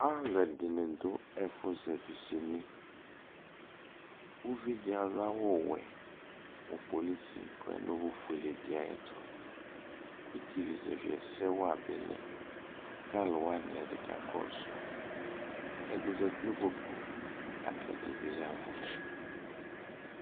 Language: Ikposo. alo ɛdini do ɛfo zɛvi sini uvi di ado awu wɛ mo polisi ko ɔdo owu fuele di ayɛto iti zɛvi ɛsɛ wa bi lɛ ko alo wani ɛdi ka kɔso ɛdi zati no ikpoku lako ɛdi bi yavo